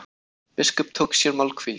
Biskup tók sér málhvíld.